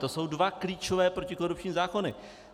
To jsou dva klíčové protikorupční zákony.